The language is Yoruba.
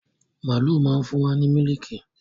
Màálu má ń fún wa ní mílíìkì.